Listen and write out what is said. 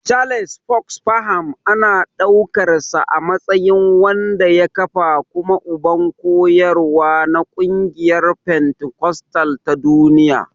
Charles Fox Parham ana ɗaukarsa a matsayin wanda ya kafa kuma uban koyarwa na ƙungiyar fentikostal ta duniya.